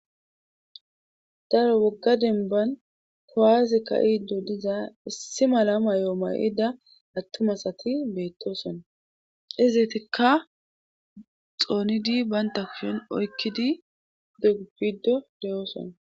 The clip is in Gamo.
Daro wogga denban kowaaze ka iiddo diza issi mala mayoo mayida attumasati beettoson izetikka xoonidi baynta kushon oykkidi udogu biddo deyooson.